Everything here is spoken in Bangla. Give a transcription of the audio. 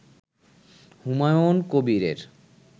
হুমায়ুন কবিরের